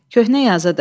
Köhnə yazıdır.